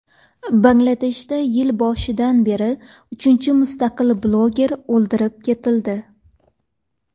Bangladeshda yil boshidan beri uchinchi mustaqil bloger o‘ldirib ketildi.